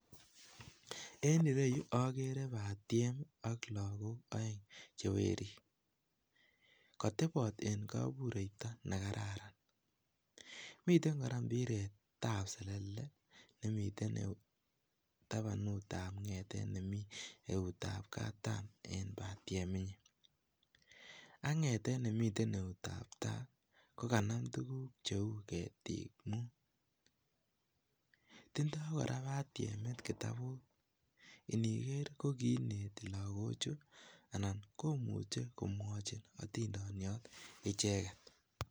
En ireyuu okere batiem ak lokok oeng chewerik kotebot en kobureito nekararan, miten koraa mbiret ab selele nemiten tapanut ab ngetet nemii eut ab katam en batiemi nyin, ak ngetet nemiten eut tab tai kokanam tukuk cheu ketiit mut, tindo koraa batiemit kitabut iniker kokiineti loko chuu anan komuche komwochi otindoniot icheket.